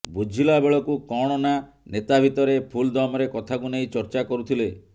ବୁଝିଲା ବେଳକୁ କଣ ନା ନେତା ଭିତରେ ଫୁଲ୍ ଦମରେ କଥାକୁ ନେଇ ଚର୍ଚ୍ଚା କରୁଥିଲେ